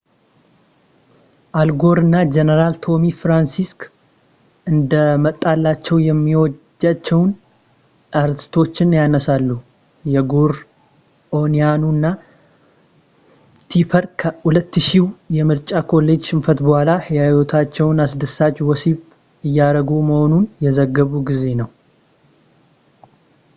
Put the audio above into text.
አል ጎር እና ጀነራል ቶሚ ፍራንክስ እንደመጣላቸው የሚወዷቸውን አርዕስቶች ያነሳሉ የጎር ኦኒየኑ እና ቲፐር ከ2000ው የምርጫ ኮሌጅ ሽንፈት ቡኃላ የህይወታቸውን አስደሳች ወሲብ እያረጉ መሆኑን የዘገቡ ጊዜ ነው።